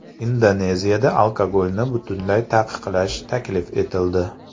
Indoneziyada alkogolni butunlay taqiqlash taklif etildi.